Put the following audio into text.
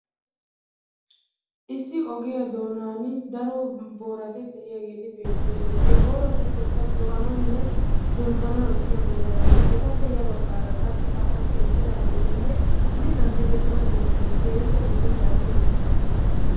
Issi ogiya doonan daro boorati d'iyageeti beettoosona. He booratuppekka zo'anawunne dulkkanawu ekkiya booratinne etappe ya baggaara qassi asati eqqidaageetinne mittan direttida dirssay keehippe lo"ennaage beettes